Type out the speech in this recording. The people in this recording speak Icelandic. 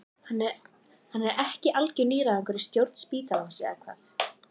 Hann er ekki algjör nýgræðingur í stjórn spítalans eða hvað?